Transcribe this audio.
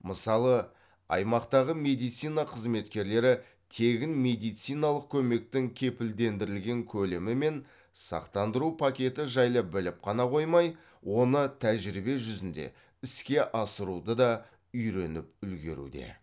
мысалы аймақтағы медицина қызметкерлері тегін медициналық көмектің кепілдендірілген көлемі мен сақтандыру пакеті жайлы біліп қана қоймай оны тәжірибе жүзінде іске асыруды да үйреніп үлгеруде